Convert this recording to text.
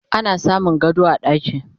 ana samun gado a ɗaki